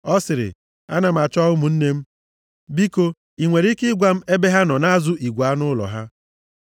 Ọ sịrị, “Ana m achọ ụmụnne m. Biko, ị nwere ike ịgwa m ebe ha nọ na-azụ igwe anụ ụlọ ha?”